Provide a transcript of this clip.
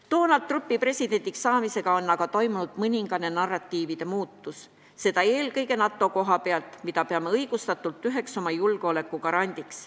Donald Trumpi presidendiks saamisega on aga toimunud mõningane narratiivide muutus, seda eelkõige NATO koha pealt, mida peame õigustatult üheks oma julgeoleku garandiks.